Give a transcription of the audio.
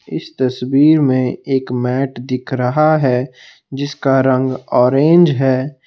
इस तस्वीर में एक मैट दिख रहा है जिसका रंग ऑरेंज है।